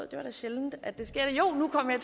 det er sjældent at det sker jo nu kom jeg